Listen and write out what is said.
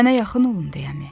Sənə yaxın olum deyəmi?